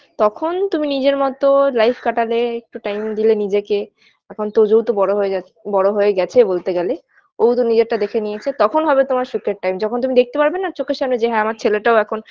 তখন তুমি নিজের মতো life কাটালে একটু time দিলে নিজেকে এখন তোজো তো বড় হয়ে যাচ্ছে বড় হয়ে গেছে বলতে গেলে ও তো নিজেরটা দেখে নিয়েছে তোখন হবে তোমার সুখের time যখন তুমি দেখতে পারবে না চোখের সামনে যে হ্যাঁ আমার ছেলেটাও এখন